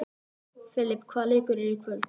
Filip, hvaða leikir eru í kvöld?